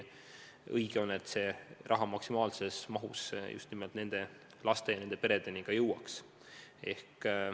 Õige on, et see raha maksimaalses mahus just nende laste ja peredeni jõuaks.